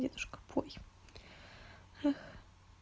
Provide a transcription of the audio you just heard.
дедушка пой эх